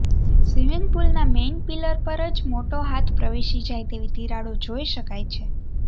swimming પુલના main pillar પર જ મોટો હાથ પ્રવેશી જાય તેવી તિરાડો જોઈ શકાય છે